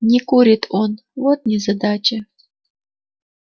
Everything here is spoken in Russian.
не курит он вот незадача